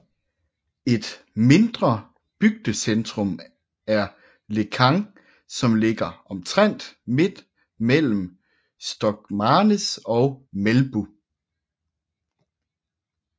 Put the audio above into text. Et mindre bygdecentrum er Lekang som ligger omtrent midt mellem Stokmarknes og Melbu